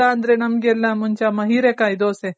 ಇಲ್ಲ ಅಂದ್ರೆ ನಮಗೆಲ್ಲ ಮುಂಚೆ ಅಮ್ಮ ಹೀರೇಕಾಯಿ ದೋಸೆ